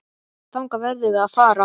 Þangað verðum við að fara.